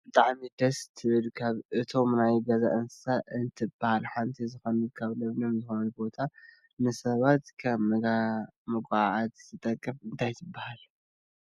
ብጣዕሚ ደስ ትብል ካብ እቶም ናይ ገዛ እንስሳ እትብሃል ሓንቲ ዝኮነት ኣብ ለምለም ዝኮነ ቦታ ንሰባት ከም መጋዓዓዚ ትጠቅም እንታይ ትብሃል?